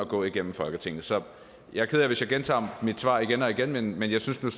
går igennem folketinget så jeg er ked af hvis jeg gentager mit svar igen og igen men jeg synes nu